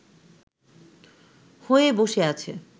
হয়ে বসে আছে